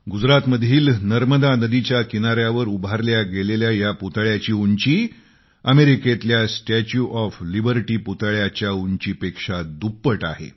गुजरातेतल्या नर्मदा नदीच्या किनार्यावर उभारलेल्या गेलेल्या या पुतळ्याची उंची अमेरिकेतल्या स्टॅच्यु ऑफ लिबर्टी पुतळ्याच्या उंचीपेक्षा दुप्पट आहे